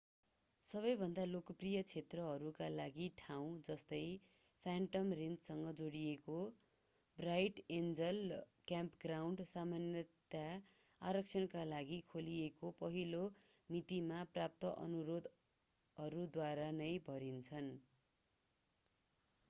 सबैभन्दा लोकप्रिय क्षेत्रहरूका लागि ठाउँ जस्तै फ्यान्टम रेन्चसँग जोडिएको ब्राइट एन्जल क्याम्पग्राउन्ड सामान्यतया आरक्षणका लागि खोलिएको पहिलो मितिमा प्राप्त अनुरोधहरूद्वारा नै भरिन्छन्